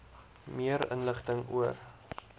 meer inligting oor